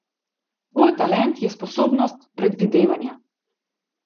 Tvoj talent je sposobnost predvidevanja.